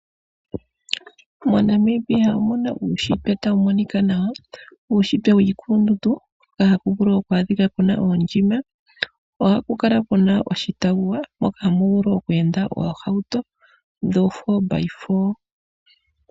MoNamibia omuna uushitwe tawu monika nawa. Uushitwe wiikulundundu haku vulu kukale kuna oondjima. Ohaku vulu ku kale kuna oshitawuwa moka hamu vulu oku enda oohauto dhoo 4x4.